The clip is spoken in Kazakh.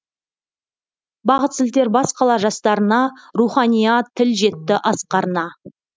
бағыт сілтер бас қала жастарына руханият тіл жетті асқарына